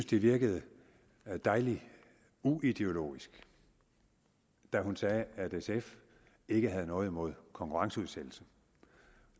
det virkede dejligt uideologisk da hun sagde at sf ikke har noget imod konkurrenceudsættelse